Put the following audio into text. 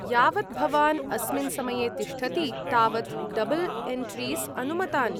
यावत् भवान् अस्मिन् समये तिष्ठति तावत् डबल् एन्ट्रीस् अनुमतानि।